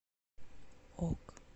ок